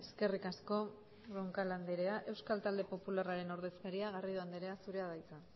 eskerrik asko roncal andrea euskal talde popularraren ordezkaria garrido andrea zurea da hitza